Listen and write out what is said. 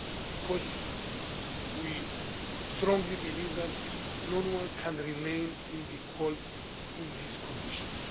because we strongly believe that no one should remain in the cold in these conditions.